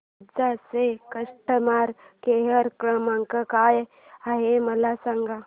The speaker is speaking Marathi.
निंजा चा कस्टमर केअर क्रमांक काय आहे मला सांगा